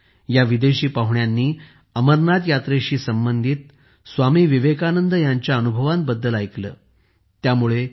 या विदेशी पाहुण्यांनी अमरनाथ यात्रेशी संबंधित स्वामी विवेकानंद यांच्या अनुभवांबद्दल काहीतरी ऐकले होते